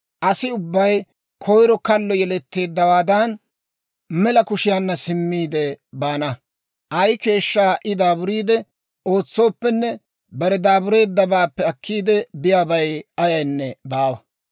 Asi ubbay koyiro kallo yeletteeddawaadan, mela kushiyaanna simmiide baana. Ay keeshshaa I daaburiide ootsooppenne, bare daabureeddabaappe akkiide biyaabay ayaynne baawa.